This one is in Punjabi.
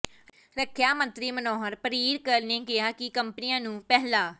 ਰੱਖਿਆ ਮੰਤਰੀ ਮਨੋਹਰ ਪਰਿਰਕਰ ਨੇ ਕਿਹਾ ਕਿ ਕੰਪਨੀਆਂ ਨੂੰ ਪਹਿਲਾ